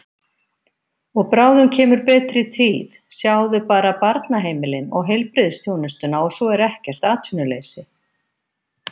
Og bráðum kemur betri tíð, sjáðu bara barnaheimilin og heilbrigðisþjónustuna og svo er ekkert atvinnuleysi.